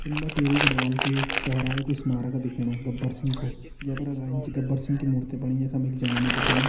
चम्बा टिहरी गढ़वाल कु यु चोहराई कु यु स्मारक दिखेणु गब्बर सिंग को जे पर अगड़ी इच गब्बर सिंग की मूर्ति बणी येखम एक जनानी दिखेणी।